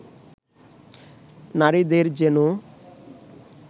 নারীদের যেনো